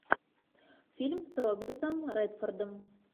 фильм с робертом редфордом